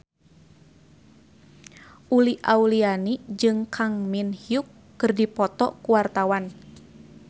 Uli Auliani jeung Kang Min Hyuk keur dipoto ku wartawan